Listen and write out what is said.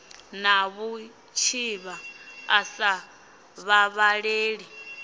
na vhutshivha a sa vhavhaleli